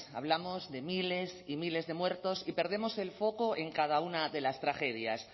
hablamos de miles y miles de muertos y perdemos el foco en cada una de las tragedias